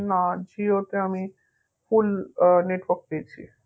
না জিওতে আমি full আহ network পেয়েছি